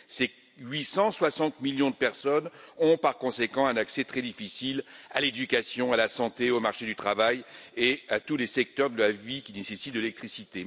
Ces 860 millions de personnes ont par conséquent un accès très difficile à l'éducation, à la santé, au marché du travail et à tous les secteurs de la vie qui nécessitent de l'électricité.